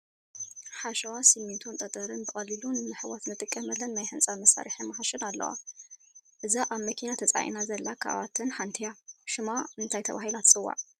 ሓሸዋ፣ ስሚንቶን ጠጠርን ብቐሊሉ ንምሕዋስ ንጥቀመለን ናይ ህንፃ መሳርሒ ማሽን ኣለዋ፡፡ እዛ ኣብ መኪና ተፃዒና ዘላ ካብኣተን ሓንቲ እያ፡፡ ሽማ እንታይ ተባሂላ ትፅዋዕ?